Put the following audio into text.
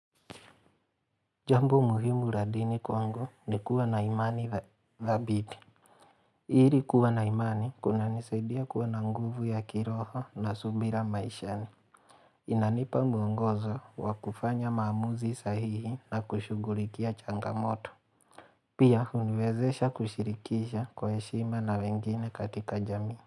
Jambo muhimu la dini kwangu ni kuwa na imani dhabiti ili kuwa na imani kunanisaidia kuwa na nguvu ya kiroho na subira maishani. Inanipa mwongozo wa kufanya maamuzi sahihi na kushughulikia changamoto. Pia huniwezesha kushirikisha kwa heshima na wengine katika jamii.